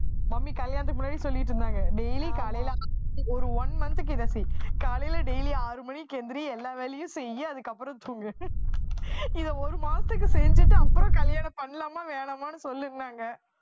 mummy கல்யாணத்துக்கு முன்னாடி சொல்லிட்டு இருந்தாங்க daily காலையில ஒரு ஒரு one month க்கு இதை காலையில daily ஆறு மணிக்கு எந்திரி எல்லா வேலையும் செய்யி அதுக்கப்புறம் தூங்கு இதை ஒரு மாசத்துக்கு செஞ்சுட்டு அப்புறம் கல்யாணம் பண்ணலாமா வேணாமான்னு சொல்லுன்னாங்க.